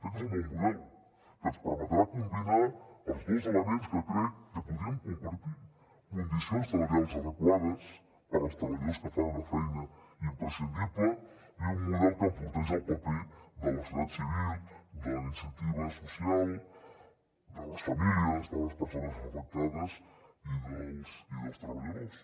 crec que és un bon model que ens permetrà combinar els dos elements que crec que podríem compartir condicions salarials adequades per als treballadors que fan una feina imprescindible i un model que enforteix el paper de la societat civil de la iniciativa social de les famílies de les persones afectades i dels treballadors